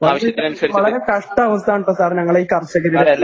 വളരെ കഷ്ട്ടവുവാണ്ട്ടോ സാർ ഞങ്ങളെ ഈ കർഷകരുടെ ഈ